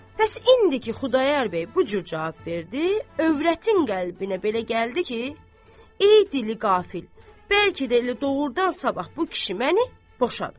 Bəs indiki Xudayar bəy bu cür cavab verdi, övrətin qəlbinə belə gəldi ki, ey dili qafil, bəlkə də elə doğrudan sabah bu kişi məni boşadı.